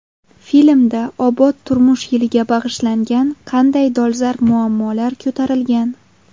Filmda obod turmush yiliga bag‘ishlangan qanday dolzarb muammolar ko‘tarilgan?